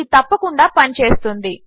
ఇది తప్పకుండా పనిచేస్తుంది